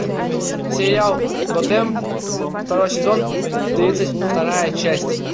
сериал готэм второй сезон тридцать вторая часть